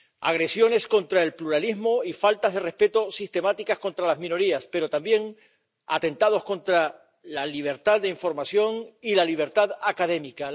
Agresiones contra el pluralismo y faltas de respeto sistemáticas contra las minorías, pero también atentados contra la libertad de información y la libertad académica.